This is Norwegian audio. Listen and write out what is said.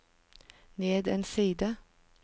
ned en side